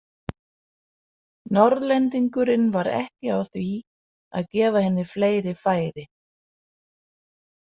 Norðlendingurinn var ekki á því að gefa henni fleiri færi.